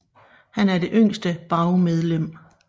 Han er det yngste BAU medlem